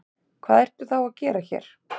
Hvað ertu þá að gera hér?